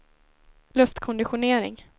luftkonditionering